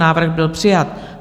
Návrh by přijat.